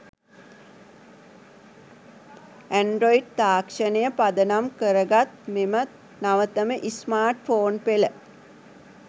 Android තාක්ෂණය පදනම් කරගත් මෙම නවතම ස්මාර්ට්ෆෝන් පෙළ